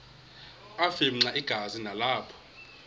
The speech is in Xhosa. afimxa igazi nalapho